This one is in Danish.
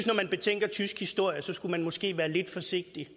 når man betænker tysk historie skulle man måske være lidt forsigtig